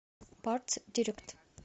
партсдирект